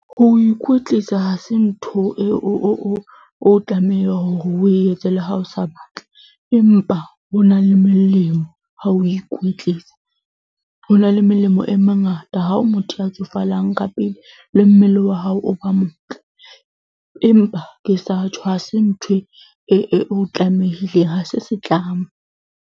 Ho ikwetlisa ha se ntho eo o o tlameha hore o etse le ha o sa batle empa ho na le melemo ha o ikwetlisa. Ho na le melemo e mengata. Ha o motho ya tsofalang ka pele le mmele wa hao o ba motle, empa ke sa tjho ha se ntho e e o tlamehileng, ha se setlamo.